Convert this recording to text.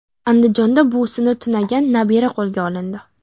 Andijonda buvisini tunagan nabira qo‘lga olindi.